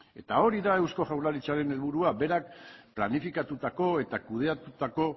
eta hori da eusko jaurlaritzaren helburua berak planifikatutako eta kudeatutako